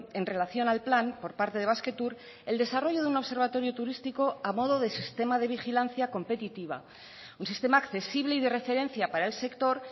en relación al plan por parte de basquetour el desarrollo de un observatorio turístico a modo de sistema de vigilancia competitiva un sistema accesible y de referencia para el sector